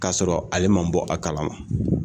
Ka sɔrɔ ale ma bɔ a kalama.